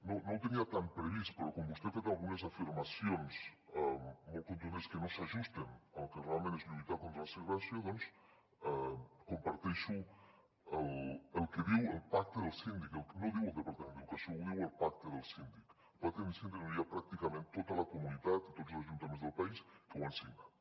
no ho tenia tant previst però com vostè ha fet algunes afirmacions molt contundents que no s’ajusten al que realment és lluitar contra la segregació doncs comparteixo el que diu el pacte del síndic no ho diu el departament d’educació ho diu el pacte del síndic un pacte del síndic on hi ha pràcticament tota la comunitat i tots els ajuntaments del país que ho han signat